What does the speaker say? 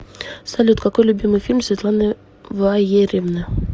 салют какой любимый фильм светланы ваерьевны